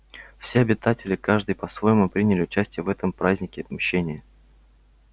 все обитатели каждый по-своему приняли участие в этом празднике мщения